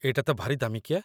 ଏଇଟା ତ ଭାରି ଦାମିକିଆ ।